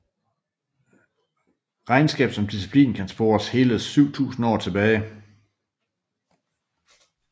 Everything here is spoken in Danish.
Regnskab som disciplin kan spores hele 7000 år tilbage